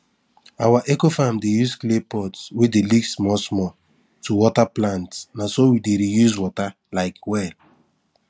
our ecofarm dey use clay pot wey dey leak small small to water plant na so we dey reuse water um well